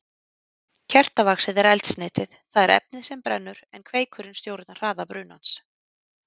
Kertavaxið er eldsneytið, það er efnið sem brennur, en kveikurinn stjórnar hraða brunans.